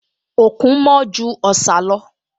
Òkun mọ́ ju Ọ̀sà lọ